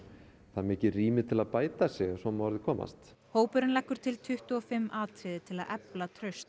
það er mikið rými til að bæta sig ef svo má að orði komast hópurinn leggur til tuttugu og fimm atriði til að efla traust